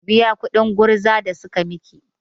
Ki biya kuɗin gurza da suka miki!